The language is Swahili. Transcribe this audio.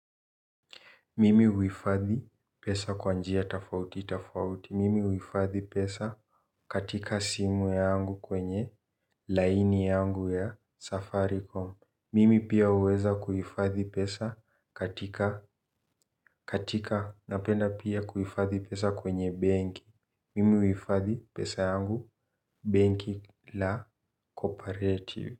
Mimi uifadhi pesa kwa njia tafauti tafauti. Mimi uifadhi pesa katika simu yangu kwenye laini yangu ya safaricom. Mimi pia uweza kuifadhi pesa katika napenda pia kuifadhi pesa kwenye benki. Mimi uifadhi pesa yangu benki la Co-operative.